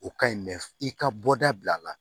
O ka ɲi mɛ i ka bɔda bila la